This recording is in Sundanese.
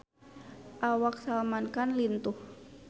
Awak Salman Khan lintuh